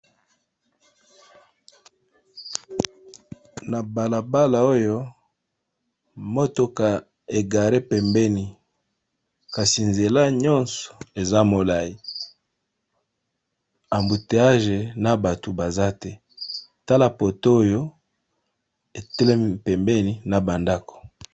Na balabala oyo motuka e garer pembeni kasi nzela nyonso eza molayi, embouteillage na batu baza te, tala poto oyo e telemi pembeni na ba ndako .